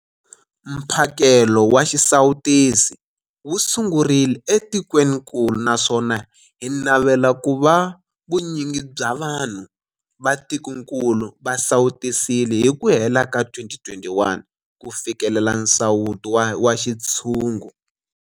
Mphakelo wa xisawutisi wu sungurile etikwenikulu naswona hi navela ku va vunyingi bya vanhu va tikokulu va sawutisiwile hi ku hela ka 2021 ku fikelela nsawuto wa xintshungu.